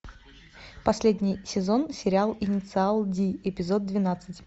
последний сезон сериал инициал ди эпизод двенадцать